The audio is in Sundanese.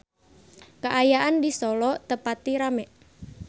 Kaayaan di Solo teu pati rame